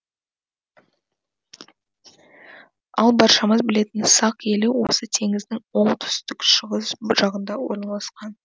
ал баршамыз білетін сақ елі осы теңіздің оңтүстік шығыс жағында орналасқан